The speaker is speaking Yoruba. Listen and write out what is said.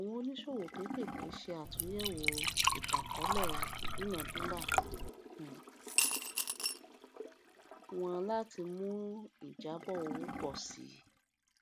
àwọn oníṣòwò kékeré ṣe àtúnyẹwò itanakọọlẹ ìdúnàdúrà um wọn láti mú ìjàbọ owó pọ sí